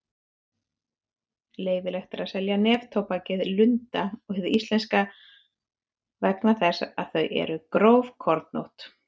Leyfilegt er að selja neftóbakið Lunda og hið íslenska vegna þess að þau eru grófkornótt.